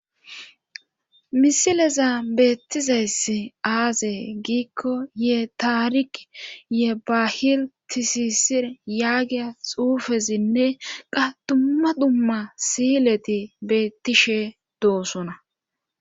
Misileza beettizayss aaze giikko ye taarik ye bahil tisisir yaagiya xuufezinne qa dumma dhumma siyileti beettishe doosona.